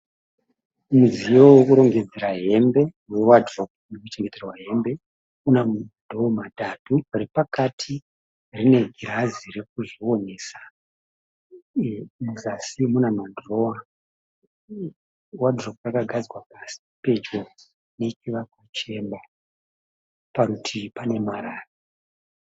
Mudziyo wekurongedzera hembe we wardrobe, ino chengeterwa hembe, una ma dhoo matatu repakati rine girazi rekuzvionesa, muzasi muna ma dhirowa . Wardrobe rakagadzikwa pasi pedyo nechivakwa chemba. Parutivi pane marara.